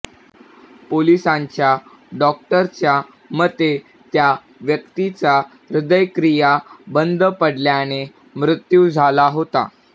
पोलिसांच्या डॉक्टरच्या मते त्या व्यक्तीचा हृदयक्रिया बंद पडल्याने मृत्यू झाला होता